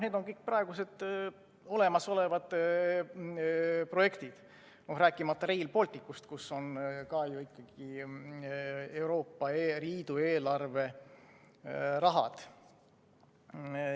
Need on kõik praegused olemasolevad projektid, rääkimata Rail Balticust, kus on ka ju ikkagi Euroopa Liidu eelarve raha.